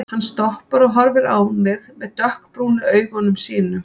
Hann stoppar og horfir á mig með dökkbrúnu augunum sínum.